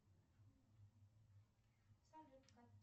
салют